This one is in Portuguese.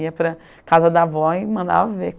Ia para a casa da avó e mandava a ver.